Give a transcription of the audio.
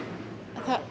það